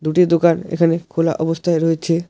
দুটি দোকান এখানে খোলা অবস্থায় রয়েছে।